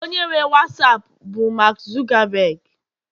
onye nwe wasapu bụ mark Zuckerberg